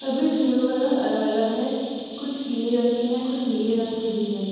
सभी झोलो का रंग अलग-अलग हैं। कुछ पीले रंग के हैं। कुछ नीले रंग के भी हैं।